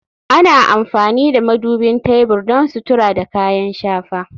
Ana amfani da madubin tebur don sutura da kayan shafa